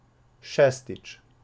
Šestič.